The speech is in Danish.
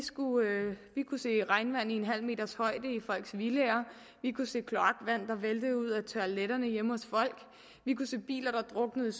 kunne se regnvand i en halv meters højde i folks villaer vi kunne se kloakvand der væltede ud af toiletterne hjemme hos folk vi kunne se biler der druknede